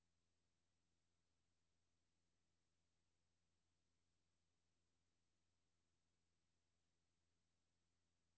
D R I F T S O M L Æ G N I N G